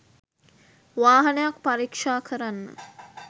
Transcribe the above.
වාහනයක් පරීක්ෂා කරන්න